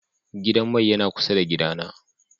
Gidan mai yana kusa da gida na.